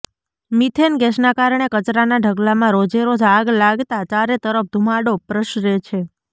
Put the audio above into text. methane ગેસના કારણે કચરાના ઢગલામાં રોજેરોજ આગ લાગતા ચારે તરફ ધુમાડો પ્રસરે છે